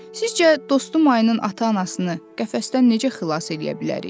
Sizcə, dostum ayının ata-anasını qəfəsdən necə xilas eləyə bilərik?